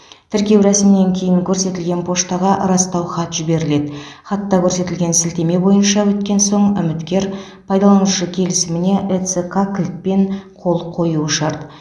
тіркеу рәсімінен кейін көрсетілген поштаға растау хат жіберіледі хатта көрсетілген сілтеме бойынша өткен соң үміткер пайдаланушы келісіміне эцқ кілтпен қол қоюы шарт